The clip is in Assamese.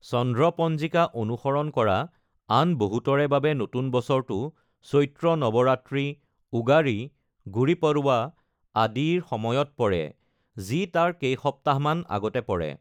চন্দ্ৰ পঞ্জিকা অনুসৰণ কৰা আন বহুতৰে বাবে নতুন বছৰটো চৈত্ৰ নৱৰাত্ৰী, উগাড়ী, গুড়ি পড়ৱা আদিৰ সময়ত পৰে, যি তাৰ কেইসপ্তাহমান আগতে পৰে।